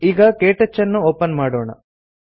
ಈಗ ಕೇಟಚ್ ಅನ್ನು ಒಪನ್ ಮಾಡೋಣ